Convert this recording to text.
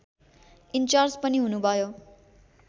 in charge पनि हुनुभयो